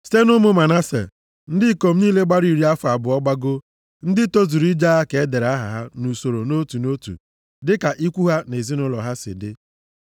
Site nʼụmụ Manase, ndị ikom niile gbara iri afọ abụọ gbagoo, ndị tozuru ije agha ka e dere aha ha nʼusoro nʼotu nʼotu dịka ikwu ha na ezinaụlọ ha si dị.